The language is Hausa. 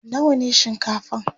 nawa ne shinkafan?